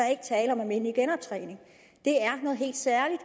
er tale om almindelige genoptræning det er noget helt særligt